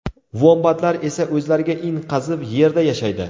Vombatlar esa o‘zlariga in qazib, yerda yashaydi.